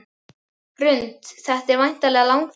Hrund: Þetta er væntanlega langþráð?